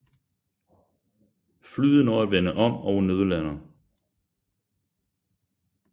Flyet når at vende om og nødlander